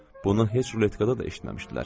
Bunu heç ruletkada da eşitməmişdilər.